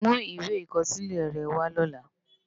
Mú iwé ikòsilè rè wá lòlá